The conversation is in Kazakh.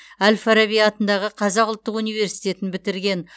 әл фараби атындағы қазақ ұлттық университетін бітірген